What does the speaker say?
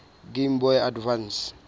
game boy advance